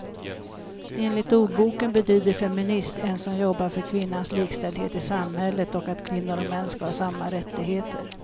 Enligt ordboken betyder feminist en som jobbar för kvinnans likställdhet i samhället och att kvinnor och män ska ha samma rättigheter.